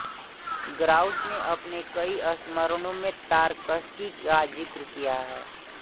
grouse ने अपने कई संस्मरणों में तारकशी का जिक्र किया है